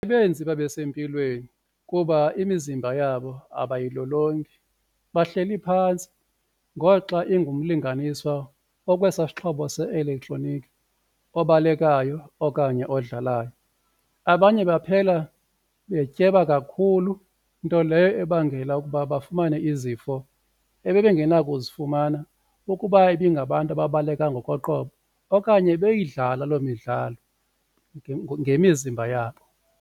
Ibenze babe sempilweni kuba imizimba yabo abayilolongi bahleli phantsi ngoxa ingumlinganiswa okwesasixhobo se-elektroniki obalekayo okanye odlalayo. Abanye baphela betyeba kakhulu nto leyo ebangela ukuba bafumane izifo ebengenakuzifumana ukuba ibingabantu ababaleka ngokoqobo okanye beyidlala loo midlalo ngemizimba yabo.